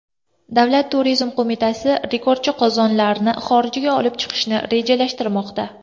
Davlat turizm qo‘mitasi rekordchi qozonlarni xorijga olib chiqishni rejalashtirmoqda.